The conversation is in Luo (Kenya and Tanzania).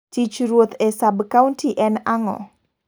Tich Ruoth e sab kaunti en ango?